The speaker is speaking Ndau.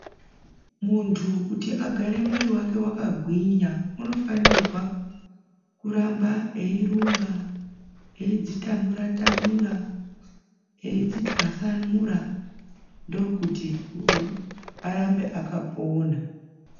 Muntu kuti agare mwiri wake waka gwinya uno fanirwa kuramba eyi rumba eyidzi tamura tamura eyidzi twasanura ndokuti arambe akapona.